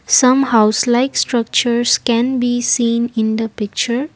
some house likes structures can be seen in the picture.